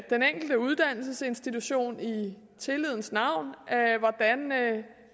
den enkelte uddannelsesinstitution i tillidens navn hvordan